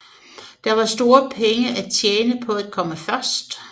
Der var store penge at tjene på at komme først